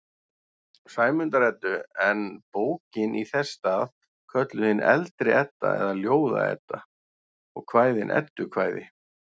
Sæmundar-Eddu, en bókin í þess stað kölluð hin eldri Edda eða Ljóða-Edda og kvæðin eddukvæði.